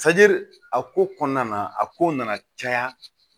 a ko kɔnɔna na a ko nana caya